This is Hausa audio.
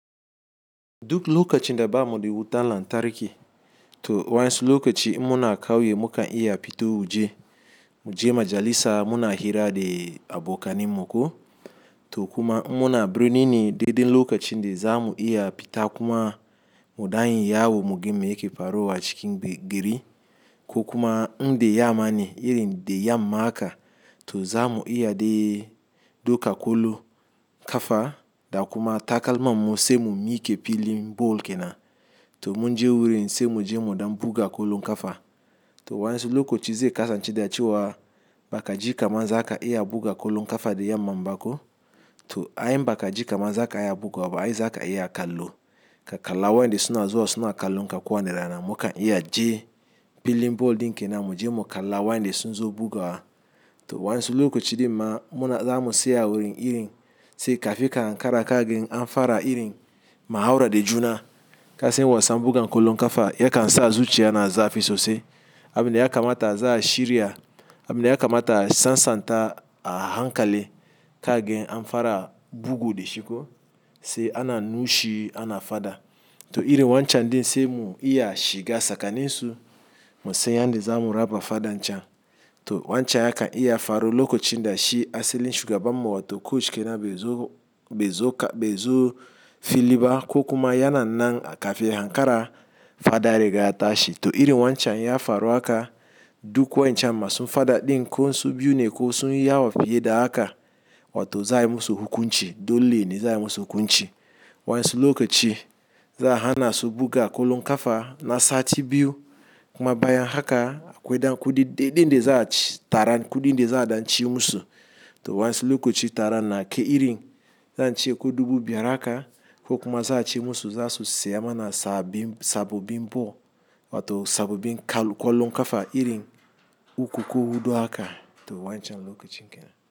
Duk lokacin da bamuɗa wutan lantarki to waɗansu lokaci in muna kauye mukan iya fito waje, muje majalisa muna hira da abokaninmu ko, to kuma in muna birni ne dai dai lokacin da zamu iya fita kuma mu danyi yawo muga me yake faruwa acikin gari, ko kuma inda yammane irin dayamma, to zamu iya dai duka kwallon kafa da kuma takalman mu sai mu mike filin ball kenan, to munje wurin sai muje muɗan buga kwallon kafa, to waɗansu lokaci zai kasance da cewa bakaji kaman zaka iya buga kwallo kafa dayamman bako, to ai in baka jikama zaka iya bugawaba ai zaka iya kallo, ka kalla waɗanda suna zuwa suna kallon ka kwana rana mukan iya je filin ball din kenan muje mu kalla waɗanda sun zo bugawa to waɗansu lokaci din ma, zamu tsaya wurin irin, sai kafin ka ankara ka gan amfara irin muhaura da juna kasan wasan buga kwallon kafa yakan sa zuciya na zafi sosai abinda yakamata za'a shirya, abinda yakamata a sasanta a hankali kaga amfara bugu dashi ko sai ana nushi ana fada to irin wancan din sai mu iya shiga tsakanin su musan yanda zamu raba fadan can, to wancan yakan iya faru lokacin dashi asalin shugabanmu wato coach kenan bai zo filiba ko kuma yana nan kafin ya hankara fada riga ya tashi, to irin wancan ya faru haka duk wa'incan masu fada ɗin ko su biyu ne ko sunyi yawa fiye da haka wato za ayi musu hukunci dole ne za ayi musu hukunci waɗansu lokaci za'a hana su buga kwallon kafa na sati biyu kuma bayan haka akwai dan kuɗin daza a ci tara kuɗin dai za a dan ci musu, to waɗansu lokaci taran na kai irin zance ko dubu biyar haka ko kuma za ace musu zasu siyan mana sababbin ball, wato sabobin kwallo kafa irin uku ko huɗu haka to wancan lokacin kenan.